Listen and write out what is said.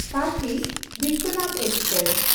Kashi Vishwanath express